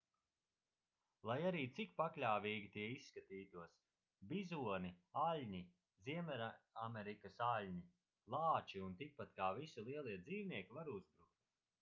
lai arī cik pakļāvīgi tie izskatītos bizoni aļņi ziemeļamerikas aļņi lāči un tikpat kā visi lielie dzīvnieki var uzbrukt